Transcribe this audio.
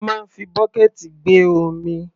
A máa ń fi bọ́kẹ̀ẹ̀tì gbé omi.